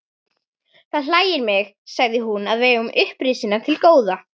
Það hlægir mig, sagði hún,-að við eigum upprisuna til góða.